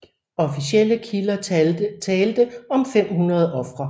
Officielle kilder talte om 500 ofre